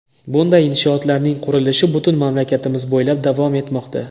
Bunday inshootlarning qurilishi butun mamlakatimiz bo‘ylab davom etmoqda.